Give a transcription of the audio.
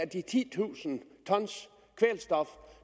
de titusind t kvælstof